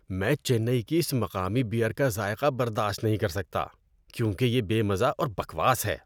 میں چنئی کی اس مقامی بیئر کا ذائقہ برداشت نہیں کر سکتا کیونکہ یہ بے مزہ اور بکواس ہے۔